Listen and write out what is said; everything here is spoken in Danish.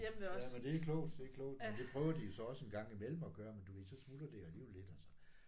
Jamen det er klogt det er klogt men det prøver de så også en gang imellem at gøre men du ved så smuldrer det alligevel lidt og så